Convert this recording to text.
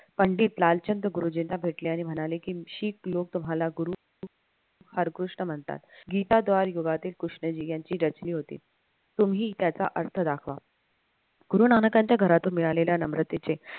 पंडित लालचंद्र गुरुजींना भेटले आणि म्हणाले कि हीच लोक तुम्हाला गुरु कृष्ण म्हणतात गीताद्वार युगातील कृष्णाजी यांची रचनी होती तुम्ही त्याचा अर्थ दाखवा गुरुनानकांच्या घरातून मिळालेल्या नम्रतेचे